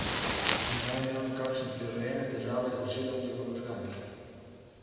Menda je imel nekakšne prirojene težave z žilami v možganih.